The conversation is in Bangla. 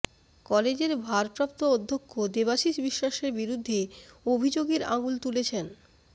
কলেজের ভারপ্রাপ্ত অধ্যক্ষ দেবাশিস বিশ্বাসের বিরুদ্ধে অভিযোগের আঙুল তুলেছেন